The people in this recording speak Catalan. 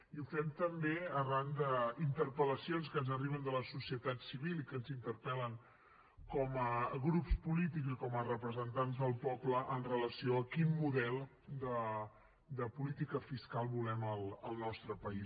i ho fem també arran d’interpel·lacions que ens arriben de la societat civil i que ens interpel·len com a grups polítics i com a representants del poble amb relació a quin model de política fiscal volem al nostre país